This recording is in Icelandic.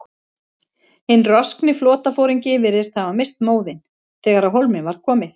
Hinn roskni flotaforingi virðist hafa misst móðinn, þegar á hólminn var komið.